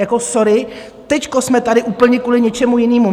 Jako sorry, teď jsme tady úplně kvůli něčemu jinému.